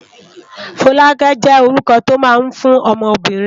Folake jé órúkò tó má n fún òmò óbìrín